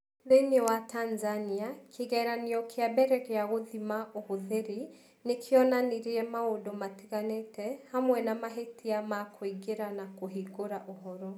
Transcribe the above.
Thĩinĩ wa Tanzania, kĩgeranio kĩa mbere gĩa gũthima ũhũthĩri nĩ kĩonanirie maũndũ matiganĩte, hamwe na mahĩtia ma kũingĩra na kũhingũra ũhoro.